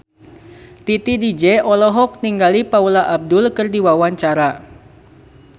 Titi DJ olohok ningali Paula Abdul keur diwawancara